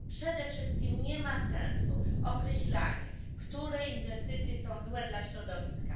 Przede wszystkim nie ma sensu określanie, które inwestycje są złe dla środowiska.